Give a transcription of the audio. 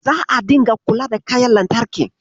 Za'a ringa kula da kayan lantarkin?